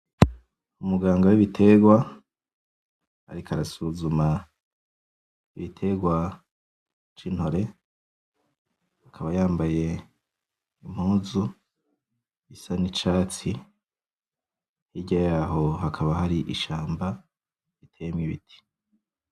Umuganga w'ibiterwa ariko arasuzuma igiterwa c'Intore, akaba yambaye Impuzu isa nicatsi, hirya yaho hakaba hari ishamba riteyemwo Ibiti.